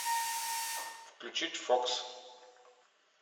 включить фокс